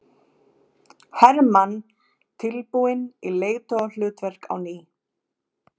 Hermann tilbúinn í leiðtogahlutverk á ný